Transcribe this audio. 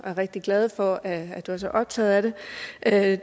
er rigtig glade for at du er så optaget af